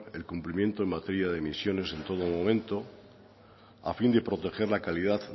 el cumplimiento en materia de emisiones en todo momento a fin de proteger la calidad